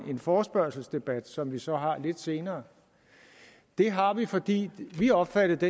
en forespørgselsdebat som vi så har lidt senere det har vi fordi vi har opfattet det